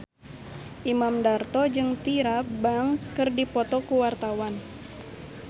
Imam Darto jeung Tyra Banks keur dipoto ku wartawan